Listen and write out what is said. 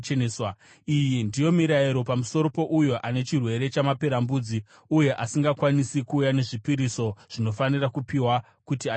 Iyi ndiyo mirayiro pamusoro pouyo ane chirwere chamaperembudzi uye asingakwanisi kuuya nezvipiriso zvinofanira kupiwa kuti acheneswe.